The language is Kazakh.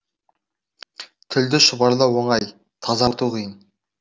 тілді шұбарлау оңай тазарту қиын